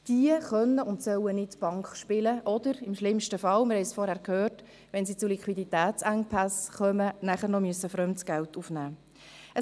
Diese können und sollen nicht Bank spielen oder schlimmstenfalls, wie wir zuvor gehört haben, wegen Liquiditätsengpässen fremdes Geld aufnehmen müssen.